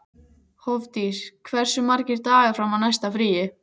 Hofdís, hversu margir dagar fram að næsta fríi?